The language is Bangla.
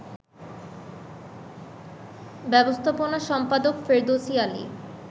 ব্যবস্থাপনা সম্পাদক ফেরদৌসী আলী